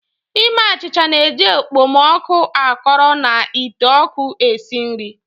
Ime achịcha na-eji okpomọkụ akọrọ na ite oku esi nri.